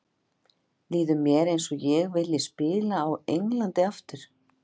Líður mér eins og ég vilji spila á Englandi aftur?